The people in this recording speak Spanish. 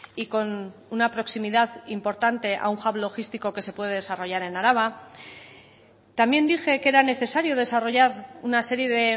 y con una proximidad importante a un hub logístico que se puede desarrollar en araba también dije que era necesario desarrollar una serie de